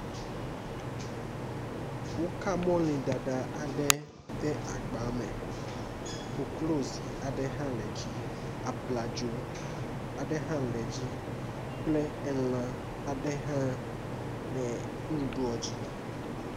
woka mɔlĩ ɖaɖa aɖe ɖe agba me koklozi aɖe hã le dzi abladzo aɖe hã le dzi kple lã aɖe hã lɛ ŋuɖuɖuɔ dzi